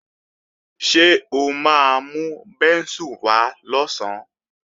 Ṣé o máa mú bẹ́ńsù wá lọ̀sán?